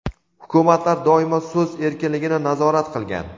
Hukumatlar doimo so‘z erkinligini nazorat qilgan.